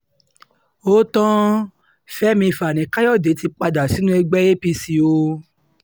ó tan fẹ́mi fani káyọ̀dé ti padà sínú ẹgbẹ́ apc o